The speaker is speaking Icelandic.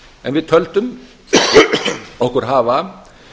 en við töldum okkur hafa